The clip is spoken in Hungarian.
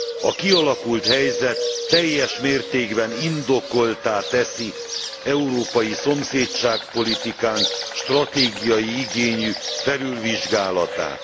A kialakult helyzet teljes mértékben indokolttá teszi európai szomszédság politikánk stratégiai igényű felülvizsgálatát.